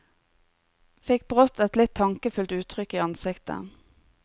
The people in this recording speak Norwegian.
Fikk brått et litt tankefullt uttrykk i ansiktet.